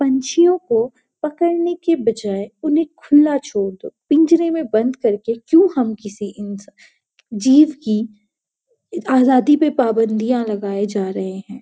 पंछियों को पकड़ने के बजाय उन्हें खुला छोड़ दो पिंजरे में बंद करके क्यों हम किसी इनं जीव की आजादी पर पाबंदियां लगाए जा रहे हैं।